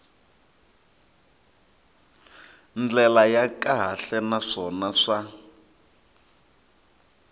ndlela ya kahle naswona swa